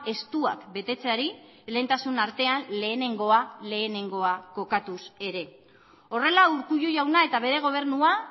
estuak betetzeari lehentasun artean lehenengoa lehenengoa kokatuz ere horrela urkullu jauna eta bere gobernua